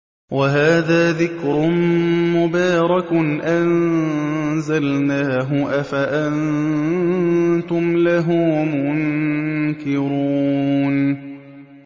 وَهَٰذَا ذِكْرٌ مُّبَارَكٌ أَنزَلْنَاهُ ۚ أَفَأَنتُمْ لَهُ مُنكِرُونَ